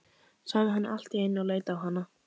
sagði hann allt í einu og leit á hana.